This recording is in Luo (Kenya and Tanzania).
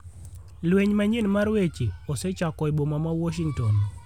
Lweny manyien mar weche osechako e boma ma Washington